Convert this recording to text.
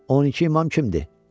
12 imam kimdir?